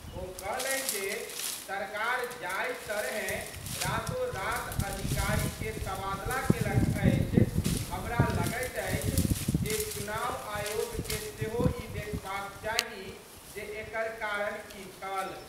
ओ कहलनि जे, सरकार जाहि तरहें रातों-रात अधिकारी के तबादला केलक अछि, हमरा लगैत अछि जे चुनाव आयोग के सेहो ई देखबाक चाही जे एकर कारण की छल।